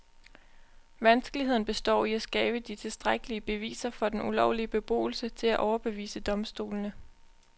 Vanskeligheden består i at skabe de tilstrækkelige beviser for den ulovlige beboelse til at overbevise domstolene.